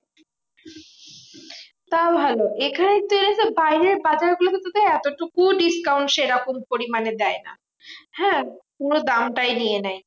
তাও ভালো, এখানে এরাসব বাইরের বাজারগুলোতে তো এতটুকুও discount সেরকম পরিমানে দেয় না, হ্যাঁ? পুরো দামটাই নিয়ে নেয়।